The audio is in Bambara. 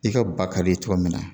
I ka ba ka ye cogo min na